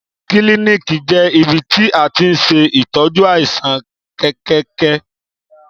Kílìníkì jẹ ìbítì à tiń sẹ ìtọjú àisán kẹkẹkẹ.